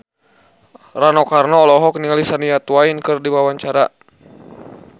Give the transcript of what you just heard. Rano Karno olohok ningali Shania Twain keur diwawancara